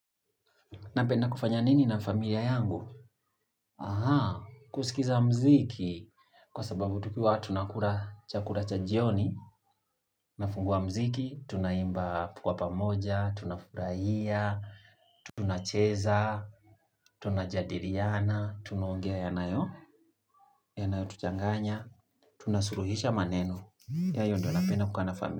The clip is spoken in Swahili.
Napenda kufanya nini na familia yangu? Aha, kusikiza mziki. Kwa sababu tukiwa, tunakura chakula cha jioni, nafungua mziki, tunaimba tukiwa pamoja, tunafurahia, tunacheza, tunajadiliana, tunaongea yanayo, yanayo tuchanganya, tunasuluhisha maneno. Yayo ndo napenda kukaa na familia.